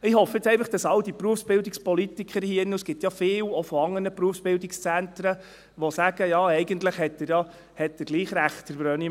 Ich hoffe jetzt einfach, dass all die Berufsbildungspolitiker hier drin, und es gibt ja viele, auch von anderen Berufsbildungszentren, die sagen: «Ja, eigentlich hat er ja gleich Recht, der Brönnimann.